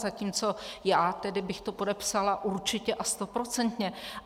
Zatímco já tedy bych to podepsala určitě a stoprocentně.